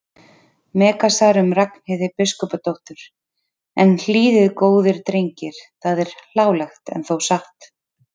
Megasar um Ragnheiði biskupsdóttur: en hlýðið góðir drengir það er hlálegt en þó satt.